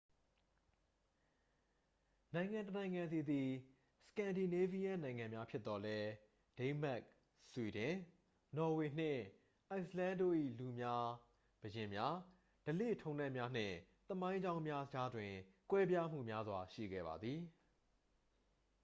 "နိုင်ငံတစ်နိုင်ငံစီသည် "စကန်ဒီနေးဗီးယန်းနိုင်ငံများ" ဖြစ်သော်လည်း၊ ဒိန်းမတ်၊ ဆွီဒင်၊ နော်ဝေနှင့် အိုက်စ်လန်းတို့၏ လူများ၊ ဘုရင်များ၊ ဓလေ့ထုံးတမ်းများနှင့် သမိုင်းကြောင်းများကြားတွင် ကွဲပြားမှုများစွာရှိခဲ့ပါသည်။